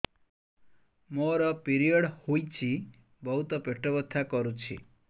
ମୋର ପିରିଅଡ଼ ହୋଇଛି ବହୁତ ପେଟ ବଥା କରୁଛି